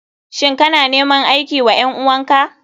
Shin kana neman aiki wa ƴan uwan ka?